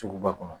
Suguba kɔnɔ